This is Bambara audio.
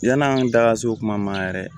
Yann'an da ka se o kuma ma yɛrɛ